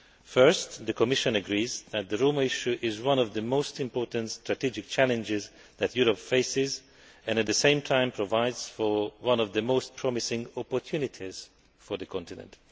Firstly, the Commission agrees that the Roma issue is one of the most important strategic challenges that Europe faces and, at the same time, it provides one of the most promising opportunities for the continent.